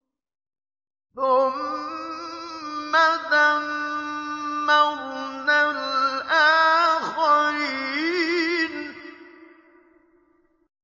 ثُمَّ دَمَّرْنَا الْآخَرِينَ